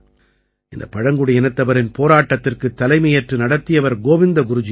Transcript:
இந்தப் பழங்குடியினத்தவரின் போராட்டத்திற்குத் தலைமையேற்று நடத்தியவர் கோவிந்த குருஜி அவர்கள்